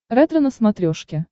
ретро на смотрешке